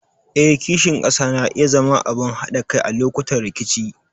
Eh, kishin ƙasa na iya zama abin haɗa kai a lokutan rikici.